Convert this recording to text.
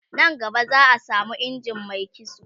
nan gaba za'a samo injin Mai kitso